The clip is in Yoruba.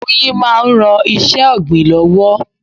Oyin máa ń ran iṣẹ́ ọ̀gbìn lọ́wọ́.